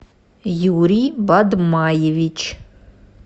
юрий бадмаевич